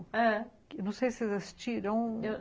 Ah, eu não sei se vocês assistiram. Eu